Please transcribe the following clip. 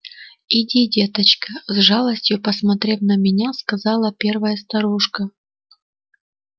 иди деточка с жалостью посмотрев на меня сказала первая старушка